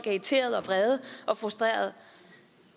irriterede og vrede og frustrerede